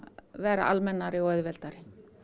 vera almennari og auðveldari